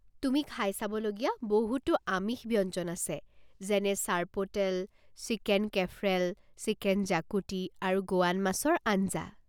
তুমি খাই চাব লগীয়া বহুতো আমিষ ব্যঞ্জন আছে যেনে চৰ্পোটেল, চিকেন কেফ্ৰেল, চিকেন জাকুটি, আৰু গোৱান মাছৰ আঞ্জা।